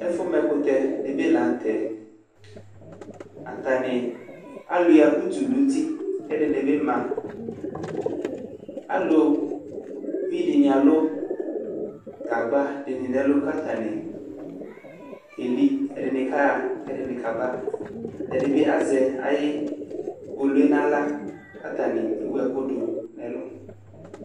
Ɛfumɛkutɛ dibi laŋtɛAtani aluia utu nuti, kɛdini bi maAluvi dini alʋ gagba dini nɛlu katani keli Ɛdini kaɣa kɛdini kabaƐdibi azɛ ayiʋ kpolue naɣlaKatani ewu ɛkʋ du nɛlʋ